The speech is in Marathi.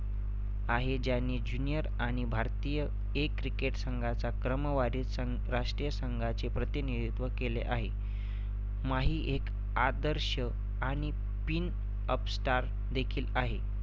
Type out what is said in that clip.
आहे ज्यानी junior आणि भारतीय A cricket संघाचा क्रमवारीचा सं राष्ट्रीय संघाचे प्रतिनिधित्व केले आहे. माही एक आदर्श आणि pin up star देखील आहे.